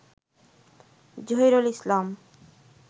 Zahirul Islam